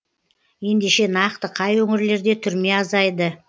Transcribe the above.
ендеше нақты қай өңірлерде түрме азайды